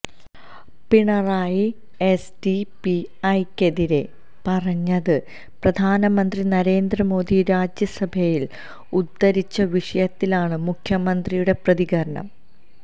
പിണറായി എസ്ഡിപിഐക്കെതിരെ പറഞ്ഞത് പ്രധാനമന്ത്രി നരേന്ദ്ര മോദി രാജ്യസഭയില് ഉദ്ധരിച്ച വിഷയത്തിലാണ് മുഖ്യമന്ത്രിയുടെ പ്രതികരണം